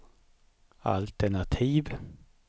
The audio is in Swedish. altenativ